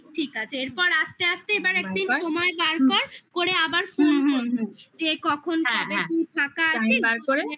ঠিক ঠিক আছে এরপর আস্তে আস্তে এবার একদিন সময় বার কর করে আবার কখন ফাঁকা আছে?